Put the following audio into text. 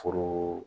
Foro